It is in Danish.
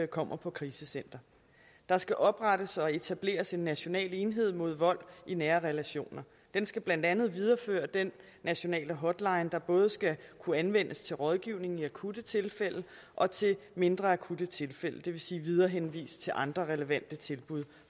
kommer på krisecenter der skal oprettes og etableres en national enhed mod vold i nære relationer den skal blandt andet videreføre den nationale hotline der både skal kunne anvendes til rådgivning i akutte tilfælde og til mindre akutte tilfælde det vil sige viderehenvist til andre relevante tilbud